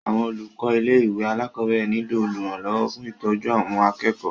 Àwọn olùkọ ilé ìwé alákọ̀berẹ̀ niló olùrànlọwọ fún ìtọ́jú àwọn akẹ́kọ̀ọ́.